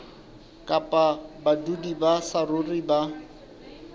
kapa badudi ba saruri ba